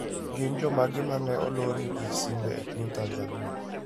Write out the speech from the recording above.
Gin jomage ma ne olorne gi simbe e piny Tanzania?